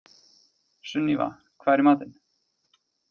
Sunníva, hvað er í matinn?